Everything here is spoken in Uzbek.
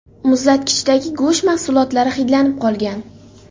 Muzlatkichdagi go‘sht mahsulotlari hidlanib qolgan.